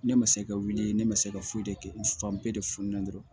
Ne ma se ka wuli ne ma se ka foyi de kɛ fan bɛɛ de funen dɔrɔn